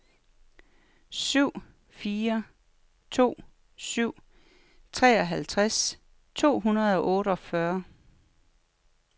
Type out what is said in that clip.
syv fire to syv treoghalvtreds to hundrede og otteogfyrre